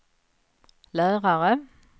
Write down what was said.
lärare